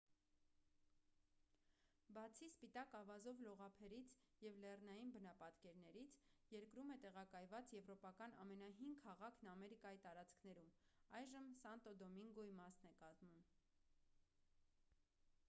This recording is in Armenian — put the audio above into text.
բացի սպիտակ ավազով լողափերից և լեռնային բնապատկերներից երկրում է տեղակայված եվրոպական ամենահին քաղաքն ամերիկայի տարածքներում այժմ սանտո դոմինգոյի մասն է կազմում